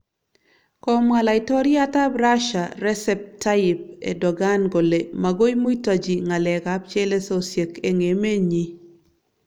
Komwa laitoryat ab Rasia Resep Tayyip Erdogan kole magoi muitaji ngalek ab chelesosyek eng emenyi